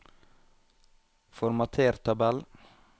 Formater tabell